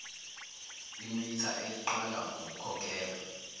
imitha eliqalwa ngokukhokhelwa